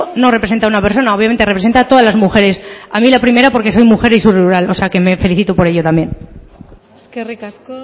no representa a una persona obviamente representa a todas las mujeres a mí la primera porque soy mujer y soy rural o sea que me felicito por ello también eskerrik asko